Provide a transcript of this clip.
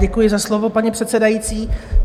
Děkuji za slovo, paní předsedající.